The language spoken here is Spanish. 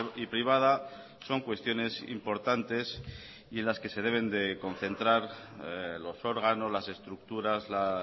y privada son cuestiones importantes y en las que se deben de concentrar los órganos las estructuras la